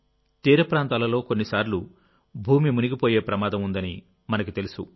తీర ప్రాంతాలలో కొన్నిసార్లు భూమి మునిగిపోయే ప్రమాదం ఉందని మనకు తెలుసు